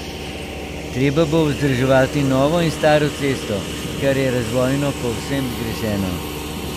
Treba bo vzdrževati novo in staro cesto, kar je razvojno povsem zgrešeno.